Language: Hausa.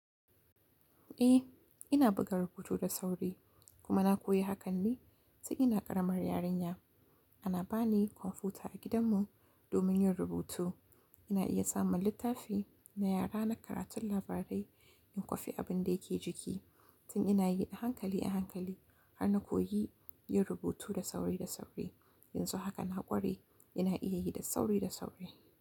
Eh, ina buga rubutu da sauri, kuma na koyi hakan ne tun ina ƙaramar yarinya. Ana bani kwamfuta a gidanmu domin yin rubutu. Ina iya samun littafi na yara na karatun labarai in kwafi abin da yake jiki. Tun ina yi a hankali a hankali har na koyi yin rubutu da sauri da sauri. Yanzu haka na ƙware, ina iya yi da sauri da sauri.